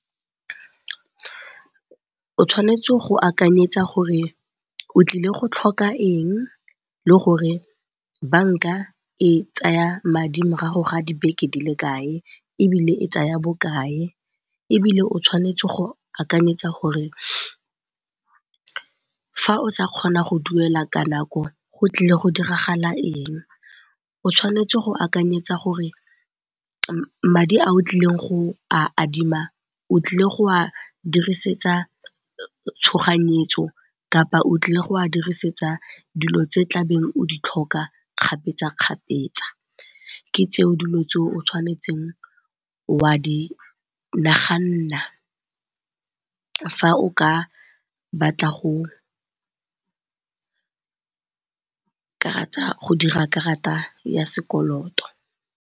O tshwanetse go akanyetsa gore o tlile go tlhoka eng le gore banka e tsaya madi morago ga dibeke di le kae ebile e tsaya bokae. Ebile o tshwanetse go akanyetsa gore fa o sa kgona go duela ka nako go tlile go diragala eng, o tshwanetse go akanyetsa gore madi ao tlileng go a adima o tlile go a dirisetsa tshoganyetso kapa o tlile go a dirisetsa dilo tse tlabeng o di tlhoka kgapetsa-kgapetsa. Ke tseo dilo tse o tshwanetseng wa di naganna fa o ka batla go dira karata ya sekoloto.